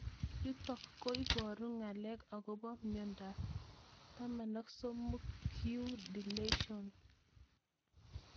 Yutok ko poru nag'alek akopo miondop 16q deletion